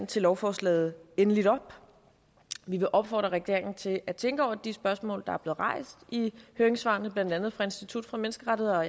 til lovforslaget endeligt op vi opfordrer regeringen til at tænke over de spørgsmål der er blevet rejst i høringssvarene blandt andet fra institut for menneskerettigheder og